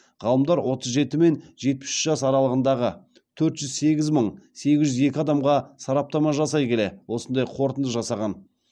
ғалымдар отыз жеті мен жетпіс үш жас аралығындағы төрт жүз сегіз мың сегіз жүз екі адамға сараптама жасай келе осындай қортынды жасаған